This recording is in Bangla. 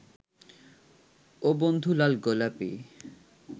ও বন্ধু লাল গোলাপী